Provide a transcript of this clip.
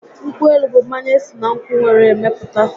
Nkwụ élú bụ mmanya esi na nkwụ were mepụta